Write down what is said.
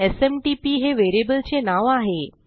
SMTP हे व्हेरिएबलचे नाव आहे